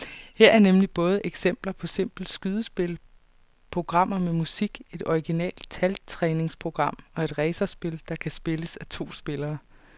Her er nemlig både eksempler på simple skydespil, programmer med musik, et originalt taltræningsprogram og et racerspil, der kan spilles af to spillere.